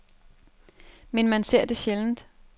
Men man ser det sjældent.